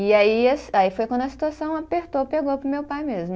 E aí a, aí foi quando a situação apertou, pegou para o meu pai mesmo.